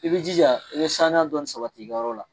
I bi jija i bɛ sanuya dɔɔnin sabati i ka yɔrɔ la.